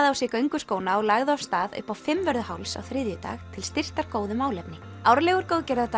á sig gönguskóna og lagði af stað upp á Fimmvörðuháls á þriðjudag til styrktar góðu málefni árlegur